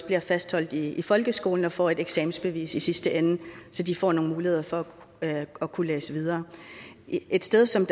bliver fastholdt i folkeskolen og får et eksamensbevis i sidste ende så de får nogle muligheder for at kunne læse videre et sted som